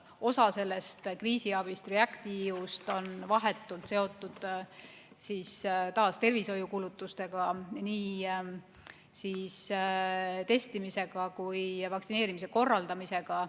Osa sellest kriisiabist, REACT-EU-st on vahetult seotud taas tervishoiukulutustega, nii testimisega kui ka vaktsineerimise korraldamisega.